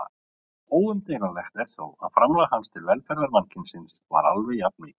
Óumdeilanlegt er þó að framlag hans til velferðar mannkynsins var alveg jafn mikilvægt.